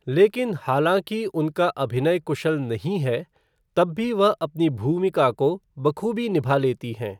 लेकिन हालांकि उनका अभिनय कुशल नहीं है, तब भी वह अपनी भूमिका को बखूबी निभा लेती हैं।